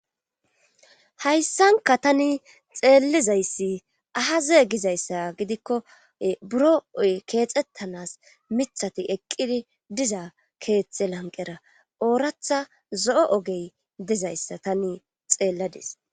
hayssanka tani xeellizayssi ahazee gizayssa gidikko buro oy keexettanas mithati eqqidi diza keetxe lanqera ooratha zo7o ogey dizayssa tani xeelladis